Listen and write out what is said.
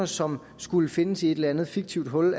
som skulle findes i et eller andet fiktivt hul